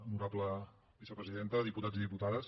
honorable vicepresidenta diputats i diputades